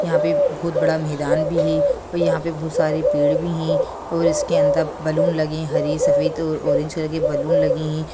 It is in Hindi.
यहाँ पे बहुत बड़ा मैदान भी है और यहाँ पे बहुत सारे पेड़ भी हैं और उसके अंदर बलून लगे हरे सफ़ेद और ऑरेंज कलर के बलून लगे हैं।